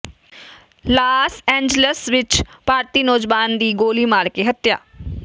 Las Angeles ਵਿਚ ਭਾਰਤੀ ਨੌਜਵਾਨ ਦੀ ਗੋਲੀ ਮਾਰ ਕੇ ਹੱਤਿਆ